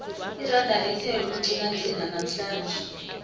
iranda lithe ukuqinaqina namhlanje